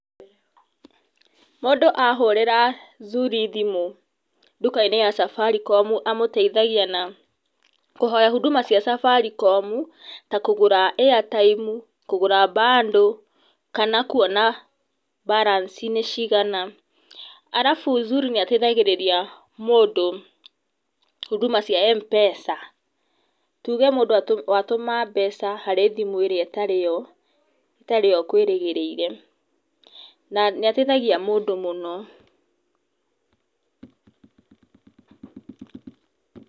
Mũndũ ahũrĩra Zuri thimu duka-inĩ ya Safaricom amũteithagia na kũhoya huduma cia Safaricom ta kũgũra airtime, kũgũra bundles, kana kuona balance nĩ cigana. Arabũ Zuri nĩ ĩteithagĩria mũndũ, huduma cia Mpesa. Tuuge mũndũ atũma mbeca harĩ thĩmũ itarĩ-yo ũkũirĩgĩrĩire, na nĩ ateithagia mũndũ mũno.